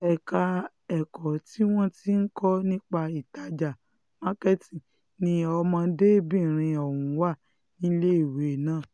ẹ̀ka ẹ̀kọ́ tí wọ́n ti ń kọ́ nípa ìtajà marketing ni ọ̀dọ́mọdébìnrin ọ̀hún wà níléèwé náà